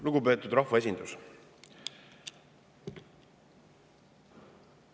Lugupeetud rahvaesindus!